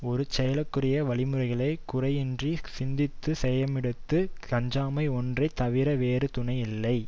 ஒரு செயலுக்குரிய வழி முறைகளை குறையின்றிச் சிந்தித்து செய்யுமிடத்து அஞ்சாமை ஒன்றை தவிர வேறு துணை யில்லை